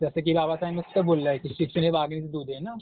जसं की बाबासाहेबांनीसुद्धा बोललंय की शिक्षण हे वाघिणीचं दूध आहे, ना?